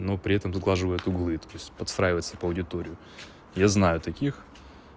но при этом сглаживает углы то есть подстраивается под аудиторию я знаю таких